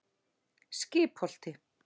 Skipholti